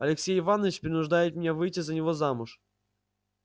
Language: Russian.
алексей иванович принуждает меня выйти за него замуж